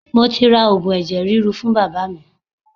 Mo ti ra Ògùn ẹ̀jẹ̀ ríru fún Bàbá mi.